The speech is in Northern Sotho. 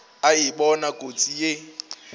a e bona kotsi ye